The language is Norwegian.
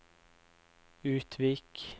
Utvik